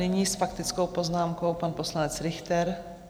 Nyní s faktickou poznámkou pan poslanec Richter.